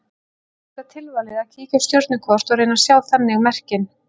Svo er auðvitað tilvalið að kíkja á stjörnukort og reyna að sjá þannig merkin.